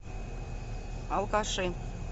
алкаши